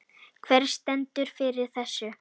Hver stendur fyrir þessu?